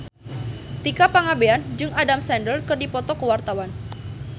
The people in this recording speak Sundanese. Tika Pangabean jeung Adam Sandler keur dipoto ku wartawan